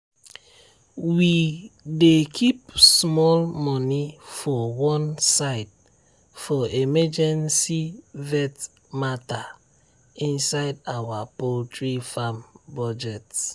we dey keep small money for one side for emergency vet matter inside our poultry farm budget.